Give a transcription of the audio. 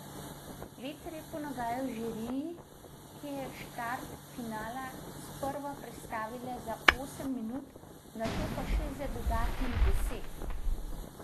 Veter je ponagajal žiriji, ki je štart finala sprva prestavila za osem minut, nato pa še za dodatnih deset.